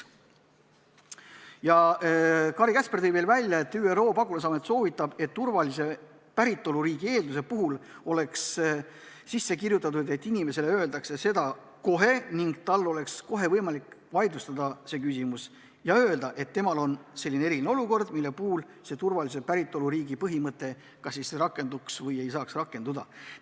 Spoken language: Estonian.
Kari Käsper tõi veel välja, et ÜRO pagulasamet soovitab, et turvalise päritoluriigi eelduse puhul oleks kirja pandud, et inimesele öeldakse seda kohe ning et tal on kohe võimalik see küsimus vaidlustada ja öelda, et temal on selline eriline olukord, mille puhul turvalise päritoluriigi põhimõte kas siis peaks rakenduma või ei saaks rakenduda.